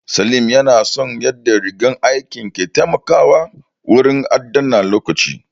Salim ya na son yadda rigar aikin ke taimakawa wurin adana lokaci